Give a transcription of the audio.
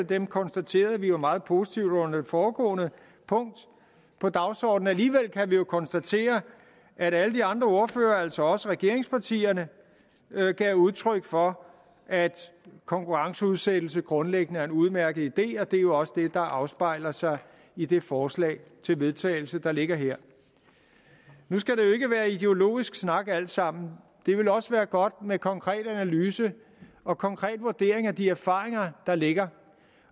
dem konstaterede vi jo meget positivt under det foregående punkt på dagsordenen alligevel kan vi jo konstatere at alle de andre partiers ordførere altså også regeringspartiernes gav udtryk for at konkurrenceudsættelse grundlæggende er en udmærket idé og det er jo også det der afspejler sig i det forslag til vedtagelse der ligger her nu skal det jo ikke være ideologisk snak alt sammen det ville også være godt med konkret analyse og konkret vurdering af de erfaringer der ligger